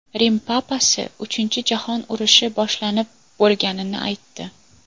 Rim papasi Uchinchi jahon urushi boshlanib bo‘lganini aytdi.